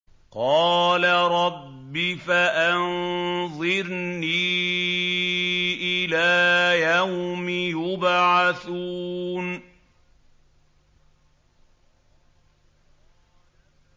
قَالَ رَبِّ فَأَنظِرْنِي إِلَىٰ يَوْمِ يُبْعَثُونَ